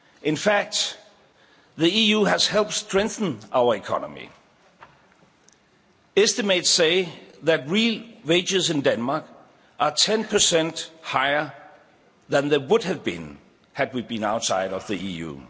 In fact, the EU has helped to strengthen our economy estimates say that real wages in Denmark are 10 percent higher than they would have been had we been outside the EU.